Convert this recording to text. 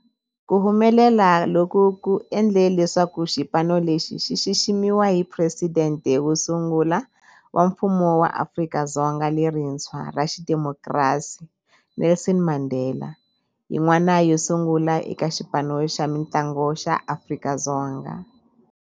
Ku humelela loku ku endle leswaku xipano lexi xi xiximiwa hi Presidente wo sungula wa Mfumo wa Afrika-Dzonga lerintshwa ra xidemokirasi, Nelson Mandela, yin'wana yo sungula eka xipano xa mintlangu xa Afrika-Dzonga.